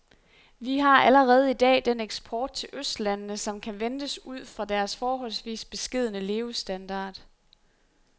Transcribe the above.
Vi har allerede i dag den eksport til østlandene, som kan ventes ud fra deres forholdsvis beskedne levestandard.